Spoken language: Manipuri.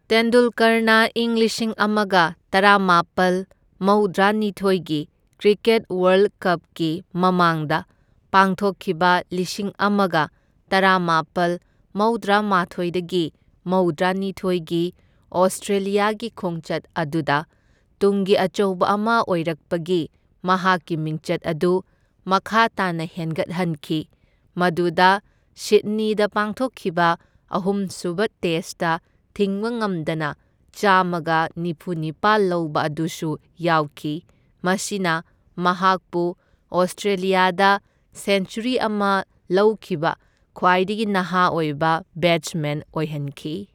ꯇꯦꯟꯗꯨꯜꯀꯔꯅ ꯏꯪ ꯂꯤꯁꯤꯡ ꯑꯃꯒ ꯇꯔꯥꯃꯥꯄꯜ ꯃꯧꯗ꯭ꯔꯥꯅꯤꯊꯣꯢꯒꯤ ꯀ꯭ꯔꯤꯀꯦꯠ ꯋꯥꯔꯜꯗ ꯀꯞꯀꯤ ꯃꯃꯥꯡꯗ ꯄꯥꯡꯊꯣꯛꯈꯤꯕ ꯂꯤꯁꯤꯡ ꯑꯃꯒ ꯇꯔꯥꯃꯥꯄꯜ ꯃꯧꯗ꯭ꯔꯥꯃꯥꯊꯣꯢꯗꯒꯤ ꯃꯧꯗ꯭ꯔꯥꯅꯤꯊꯣꯢꯒꯤ ꯑꯣꯁꯇ꯭ꯔꯦꯂ꯭ꯌꯥꯒꯤ ꯈꯣꯡꯆꯠ ꯑꯗꯨꯗ ꯇꯨꯡꯒꯤ ꯑꯆꯧꯕ ꯑꯃ ꯑꯣꯏꯔꯛꯄꯒꯤ ꯃꯍꯥꯛꯀꯤ ꯃꯤꯡꯆꯠ ꯑꯗꯨ ꯃꯈꯥ ꯇꯥꯅ ꯍꯦꯟꯒꯠꯍꯟꯈꯤ, ꯃꯗꯨꯗ ꯁꯤꯗꯅꯤꯗ ꯄꯥꯡꯊꯣꯛꯈꯤꯕ ꯑꯍꯨꯝꯁꯨꯕ ꯇꯦꯁꯠꯇ ꯊꯤꯡꯕꯉꯝꯗꯅ ꯆꯥꯝꯃꯒ ꯅꯤꯐꯨꯅꯤꯄꯥꯜ ꯂꯧꯕ ꯑꯗꯨꯁꯨ ꯌꯥꯎꯈꯤ, ꯃꯁꯤꯅ ꯃꯍꯥꯛꯄꯨ ꯑꯣꯁꯇ꯭ꯔꯦꯂ꯭ꯌꯥꯗ ꯁꯦꯟꯆꯨꯔꯤ ꯑꯃ ꯂꯧꯈꯤꯕ ꯈ꯭ꯋꯥꯏꯗꯒꯤ ꯅꯍꯥ ꯑꯣꯏꯕ ꯕꯦꯠꯁꯃꯦꯟ ꯑꯣꯏꯍꯟꯈꯤ꯫